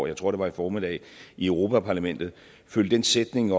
jeg tror det var i formiddag i europa parlamentet fulgte den sætning